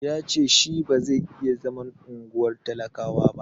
Ya ce shi ba zai iya zaman unguwar talakawa ba.